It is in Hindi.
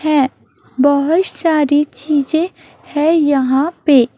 हैं बहोत सारी चीजें हैं यहाँ पे।